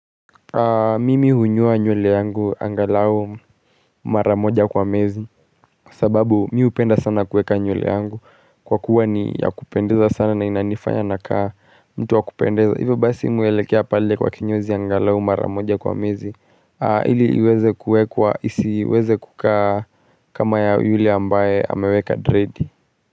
Mimi hunyoa nywele yangu angalau maramoja kwa mezi sababu mimi hupenda sana kuweka nywele yangu Kwa kuwa ni ya kupendeza sana na inanifanya nakaa mtu wa kupendeza Hivyo basi mimi huelekea pale kwa kinyozi angalau maramoja kwa mwezi ili iweze kuwekwa isiweze kukaa kama ya yule ambaye ameweka dread.